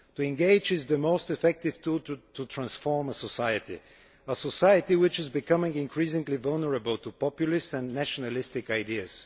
Engagement is the most effective tool for transforming a society a society which is becoming increasingly vulnerable to populist and nationalistic ideas.